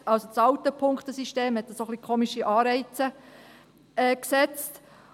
Das heisst, das alte Punktesystem hat etwas merkwürdige Anreize gesetzt.